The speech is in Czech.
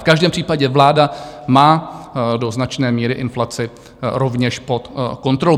V každém případě vláda má do značné míry inflaci rovněž pod kontrolu.